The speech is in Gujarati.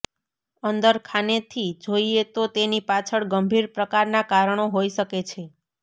અંદર ખાનેથી જોઇએ તો તેની પાછળ ગંભીર પ્રકારના કારણો હોઇ શકે છે